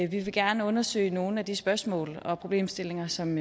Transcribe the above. vi vil gerne undersøge nogle af de spørgsmål og problemstillinger som